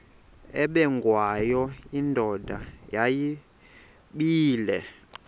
ubengwayo indoda yayibile